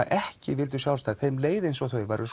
ekki vildu sjálfstæði þeim leið eins og þau væru